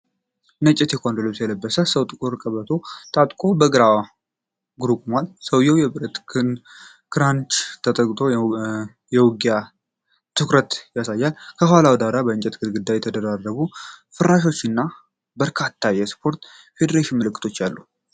ነጭ የቴኳንዶ ልብስ የለበሰ ሰው ጥቁር ቀበቶ ታጥቆ በአንድ እግሩ ቆሟል። ሰውየው በብረት ክራንች ተጠግቶ የውጊያ ትኩረት ያሳያል። የኋላው ዳራ የእንጨት ግድግዳ፣ የተደራረቡ ፍራሾችና በርካታ የስፖርት ፌዴሬሽን ምልክቶች አሉ።